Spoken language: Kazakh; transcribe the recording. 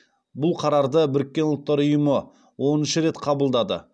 бұл қарарды біріккен ұлттар ұйымы оныншы рет қабылдады